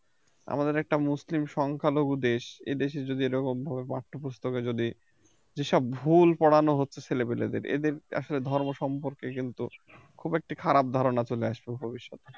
আমাদের একটা মুসলিম সংখ্যালঘু দেশ এ দেশে যদি এরকম ভাবে পাঠ্যপুস্তকে যদি এসব ভুল পরানো হচ্ছে ছেলেপিলেদের এদের আসলে ধর্ম সম্পর্কে কিন্তু খুব একটা খারাপ ধারণা চলে আসবে ভবিষ্যতে